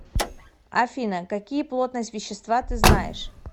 афина какие плотность вещества ты знаешь